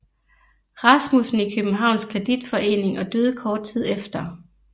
Rasmussen i Københavns Kreditforening og døde kort tid efter